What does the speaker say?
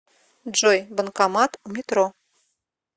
джой банкомат у метро